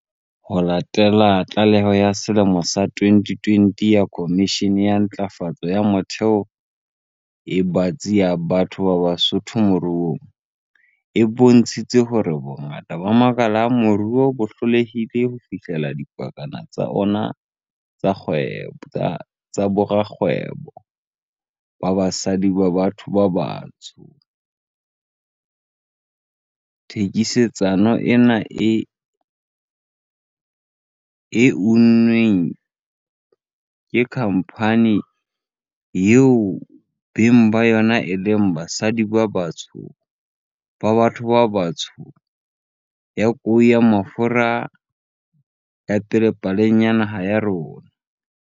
Ho latela tlaleho ya selemo sa 2020 ya Khomishene ya Matlafatso e Metheo e Batsi ya Batho ba Batsho Moruong, e bontshitseng hore bongata ba makala a moruo bo hlolehile ho fihlella dipakana tsa ona tsa borakgwebo ba basadi ba batho ba batsho, thekisetsano ena e unnweng ke khampani, eo beng ba yona e leng basadi ba batho ba batsho, ya kou ya mafura ke ya pele paleng ya naha ya rona.